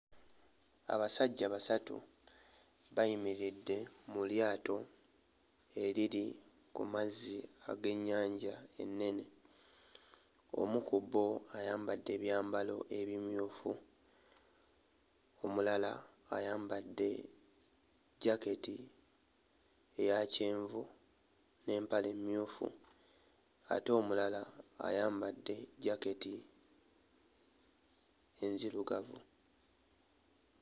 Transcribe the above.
Abasajja basatu bayimiridde mu lyato eriri ku mazzi ag'ennyanja enene. Omu ku bo ayambadde ebyambalo ebimyufu, omulala ayambadde jaketi eya kyenvu n'empale emmyufu ate omulala ayambadde jaketi enzirugavu.